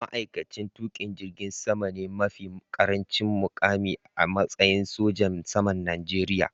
Ma’aikaci mai tuƙin jirgin sama ne mafi ƙarancin muƙami a matsayi sojan saman Najeriya.